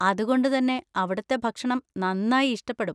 അതുകൊണ്ട് തന്നെ അവിടുത്തെ ഭക്ഷണം നന്നായി ഇഷ്ടപ്പെടും.